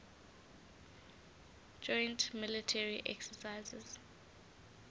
joint military exercises